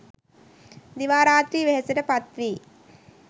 දිවා රාත්‍රී වෙහෙසට පත් වී